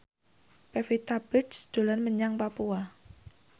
Pevita Pearce dolan menyang Papua